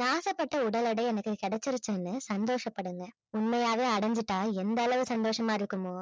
நான் ஆசைப்பட்ட உடல் எடை எனக்கு கிடைச்சிருச்சுன்னு சந்தோஷப்படுங்க உண்மையாவே அடைஞ்சிட்டா எந்த அளவு சந்தோசமா இருக்குமோ